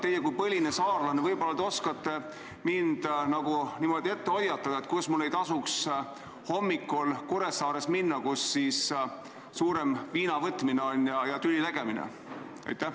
Teie kui põline saarlane võib-olla oskate mind hoiatada, kuhu mul ei tasuks hommikul Kuressaares minna, kus suurem viinavõtmine ja tüli tegemine on.